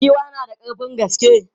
Giwa na da ƙarfin gaske.